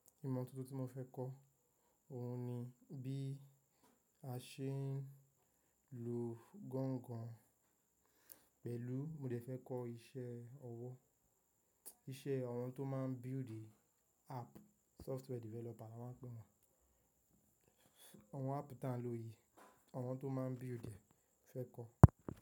Ìmọ̀ tuntun tí mo fẹ́ kọ́ òun ni bí a ṣe ń lu gangan pẹ̀lú mo dè fẹ́ kọ́ iṣẹ́ ọwọ́, iṣẹ́ àwọn tó máa ń build app, software developer na máa ń pè wọ́n. Àwọn app táà ń lò yìí, àwọn tó máa ń build ẹ, mo fẹ́ kọ́